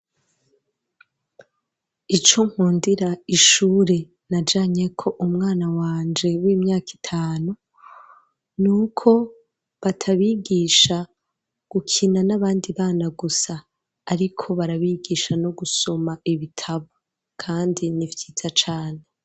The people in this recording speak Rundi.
Ico nkundira ishuri najanyeko umwana wanje, w'imyaka itanu; ni uko batabigisha gukina n'abandi bana gusa; ariko barabigisha no gusoma ibitabo, kandi ni vyiza cane.